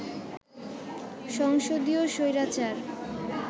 সংসদীয় স্বৈরাচার